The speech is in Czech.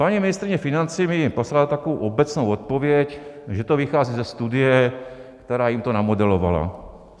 Paní ministryně financí mi poslala takovou obecnou odpověď, že to vychází ze studie, která jim to namodelovala.